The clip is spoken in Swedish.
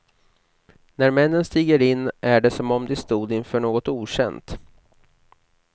När männen stiger in är det som om de stod inför något okänt.